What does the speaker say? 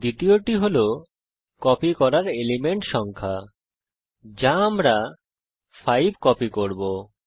দ্বিতীয়টি হল কপি করার এলিমেন্ট সংখ্যা এখানে আমরা 5 কপি করব